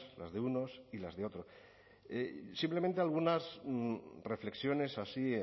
los de unos y otros simplemente algunas reflexiones así